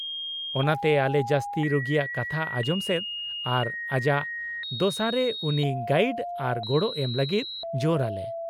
-ᱚᱱᱟᱛᱮ ᱟᱞᱮ ᱡᱟᱹᱥᱛᱤ ᱨᱩᱜᱤᱭᱟᱜ ᱠᱟᱛᱷᱟ ᱟᱡᱚᱢ ᱥᱮᱫ ᱟᱨ ᱟᱡᱟᱜ ᱫᱚᱥᱟᱨᱮ ᱩᱱᱤ ᱜᱟᱭᱤᱰ ᱟᱨ ᱜᱚᱲᱚ ᱮᱢ ᱞᱟᱹᱜᱤᱫ ᱡᱳᱨ ᱟᱞᱮ ᱾